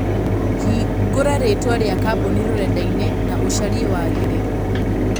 Hingũra rĩĩtwa rĩa kambũni rũrenda ĩnĩ na ũcarie wagĩrĩru